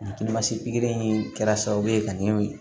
pikiri in kɛra sababu ye ka nin